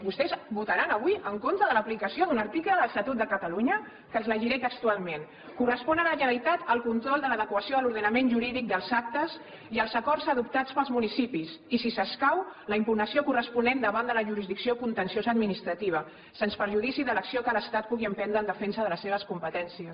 vostès votaran avui en contra de l’aplicació d’un article de l’estatut de catalunya que els llegiré textualment correspon a la generalitat el control de l’adequació a l’ordenament jurídic dels actes i els acords adoptats pels municipis i si escau la impugnació corresponent davant de la jurisdicció contenciosa administrativa sens perjudici de l’acció que l’estat pugui emprendre en defensa de les seves competències